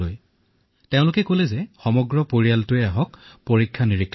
আগ্ৰাৰ জিলা চিকিৎসালয়ৰ পৰা আমাৰ গোটেই পৰিয়ালটোকেই মাতিলে